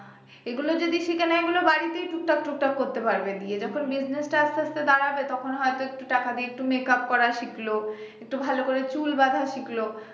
এগুলো যদি শিখে নেয় এগুলো বাড়িতেই টুক টাক টুক টাক করতে পারবে গিয়ে যখন business টা আস্তে আস্তে দাঁড়াবে তখন হয়ত একটু টাকা দিয়ে একটু makeup করা শিখল, একটু ভালো করে চুল বাঁধা শিখল